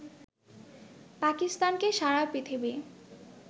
পাকিস্তানকে সারা পৃথিবী